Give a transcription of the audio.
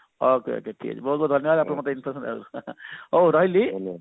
okay okay ଠିକ ଅଛି ବହୁତ ବହୁତ ଧନ୍ଯବାଦ ଆପଣ ମତେ information ଦବାରୁ ହଉ ରହିଲି